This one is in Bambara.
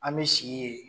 An bɛ sigi yen